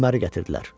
Öməri gətirdilər.